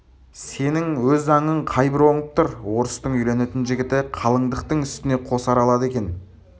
сенің өз заңың қай бір оңып тұр орыстың үйленетін жігіті қалыңдықтың үстіне қосар алады екен